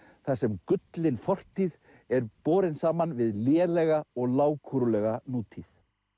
þar sem gullin fortíð er borin saman við lélega og lágkúrulega nútíð